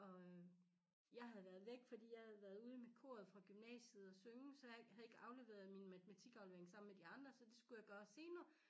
Og øh jeg havde været væk fordi jeg havde været ude med koret fra gymnasiet og synge så jeg havde ikke afleveret min matematikaflevering sammen med de andre så det skulle jeg gøre senere